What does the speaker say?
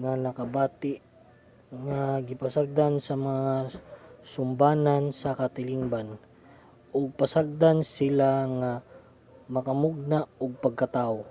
nga nakabati nga gipasagdan sa mga sumbanan sa katilingban ug pasagdan sila nga makamugna og pagkatawo